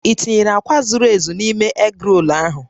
I tinyere akwa zuru ezu n'ime egrol ahụ?